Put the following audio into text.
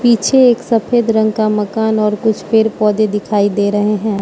पीछे एक सफेद रंग का मकान और कुछ पेर पौधे दिखाई दे रहे हैं।